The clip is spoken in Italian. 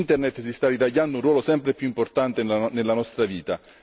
Internet si sta ritagliando un ruolo sempre più importante nella nostra vita.